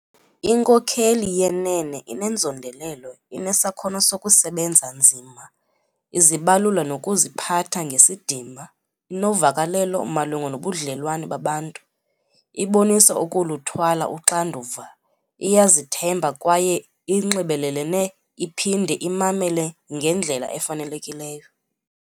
Inkokeli yenene inenzondelelo, inesakhono sokusebenza nzima, izibalula nokuziphatha ngesidima, inovakalelo malunga nobudlelwane babantu, ibonisa ukuluthwala uxanduva, iyazithemba kwaye inxibelelene iphinde imamele ngendlela efanelekileyo.